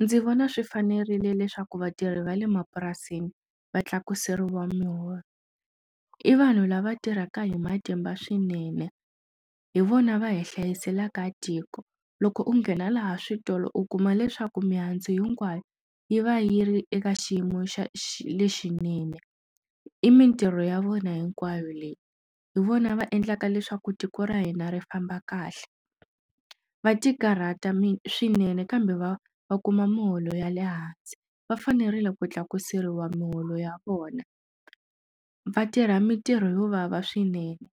Ndzi vona swi fanerile leswaku vatirhi va le mapurasini va tlakuseriwa miholo i vanhu lava tirhaka hi matimba swinene hi vona va hi hlayiselaka tiko loko u nghena laha switolo u kuma leswaku mihandzu hinkwayo yi va yi ri eka xiyimo xa lexinene i mitirho ya vona hinkwayo leyi hi vona va endlaka leswaku tiko ra hina ri famba kahle va tikarhata mi swinene kambe va va kuma miholo ya le hansi va fanerile ku tlakuseriwa miholo ya vona vatirha mitirho yo vava swinene